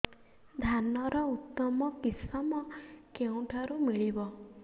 ଧାନର ଉତ୍ତମ କିଶମ କେଉଁଠାରୁ ମିଳିବ